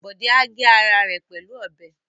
Bọ̀dé á gé ara rẹ pẹ̀lú ọbẹ̀